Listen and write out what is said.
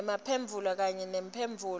nemphendvulo kanye nemphendvulo